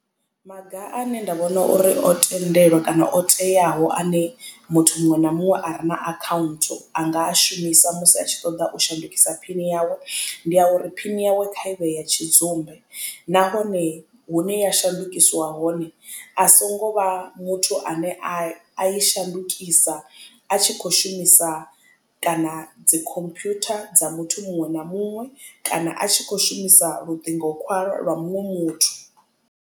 Maga ane nda vhona uri o tendelwa kana o teaho ane muthu muṅwe na muṅwe a re na account anga a shumisa musi a tshi ṱoḓa u shandukisa phini yawe ndi a uri phini yawe kha ivhe ya tshidzumbe. Nahone hune ya shandukiswa hone a songo vha muthu ane a i shandukisa a tshi kho shumisa kana dzi computer dza muthu muṅwe na muṅwe kana a tshi kho shumisa luṱingo khwalwa lwa muṅwe muthu.